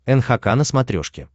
нхк на смотрешке